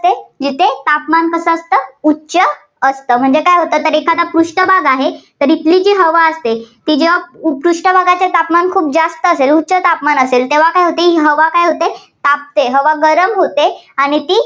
असते तापमान कसं असतं उच्च असतं. म्हणजे काय होतं तर एखादा पृष्ठभाग आहे, तर इथली जी हवा असते ती जेव्हा पृष्ठभागाचे तापमान खूप जास्त असते, उच्च तापमान असेल तेव्हा काय होते ही हवा काय होते तापते. हवा गरम होते आणि ती